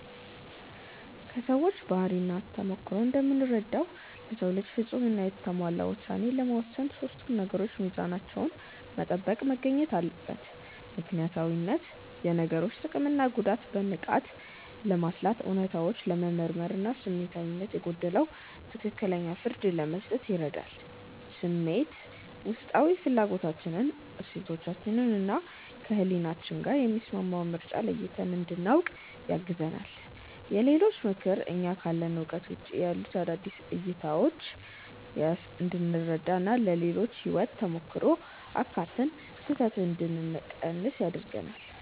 ከሰዎች ባህሪና ተሞክሮ እንደምረዳው፣ ለሰው ልጅ ፍጹም እና የተሟላ ውሳኔ ለመወሰን ሶስቱም ነገሮች ሚዛናቸውን ጠብቀው መገኘት አለባቸው፦ ምክንያታዊነት፦ የነገሮችን ጥቅምና ጉዳት በንቃት ለማስላት፣ እውነታዎችን ለመመርመር እና ስሜታዊነት የጎደለው ትክክለኛ ፍርድ ለመስጠት ይረዳል። ስሜት (Intuition)፦ ውስጣዊ ፍላጎታችንን፣ እሴቶቻችንን እና ከህሊናችን ጋር የሚስማማውን ምርጫ ለይተን እንድናውቅ ያግዘናል። የሌሎች ምክር፦ እኛ ካለን እውቀት ውጪ ያሉ አዳዲስ እይታዎችን (Perspectives) እንድንረዳ እና የሌሎችን የህይወት ተሞክሮ አካትተን ስህተትን እንድንቀንስ ያደርገናል።